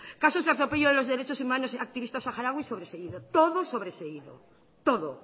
casos de atropello de los derechos humanos a activistas saharauis sobreseído todo sobreseído todo